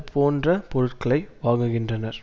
போன்ற பொருட்களை வாங்குகின்றனர்